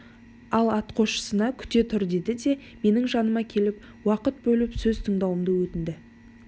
ол атқосшысына күте түр деді де менің жаныма келіп уақыт бөліп сөз тыңдауымды өтінді